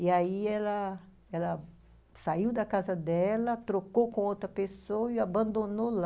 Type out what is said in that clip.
E, aí, ela ela saiu da casa dela, trocou com outra pessoa e abandonou lá.